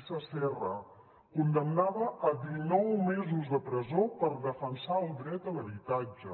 isa serra condemnada a dinou mesos de presó per defensar el dret a l’habitatge